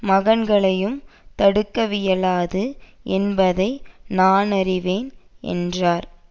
மகன்களையும் தடுக்கவியலாது என்பதை நானறிவேன் என்றார்